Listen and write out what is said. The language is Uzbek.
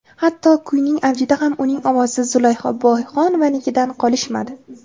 Hatto, kuyning avjida ham uning ovozi Zulayho Boyxonovanikidan qolishmadi.